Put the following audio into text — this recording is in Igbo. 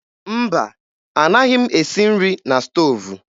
Mba, anaghị m esi nri na stoovu